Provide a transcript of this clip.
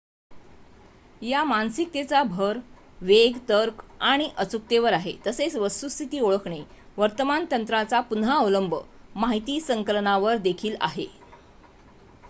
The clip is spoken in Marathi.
या मानसिकतेचा भर वेग तर्क आणि अचूकतेवर आहे तसेच वस्तुस्थिती ओळखणे वर्तमान तंत्रांचा पुन्हा अवलंब माहिती संकलनावर देखील आहे